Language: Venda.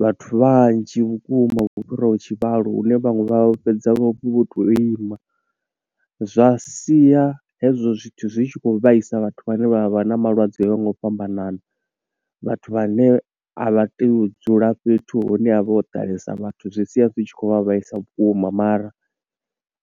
vhathu vhanzhi vhukuma, vho fhiraho tshivhalo. Hune vhaṅwe vha fhedza vho to ima, zwa sia hezwo zwithu zwi tshi khou vhaisa vhathu vhane vha vha na malwadze o yaho nga u fhambanana. Vhathu vhane a vha tei u dzula fhethu hune havha ho ḓalesa vhathu, zwi sia zwi tshi khou vhaisa vhukuma mara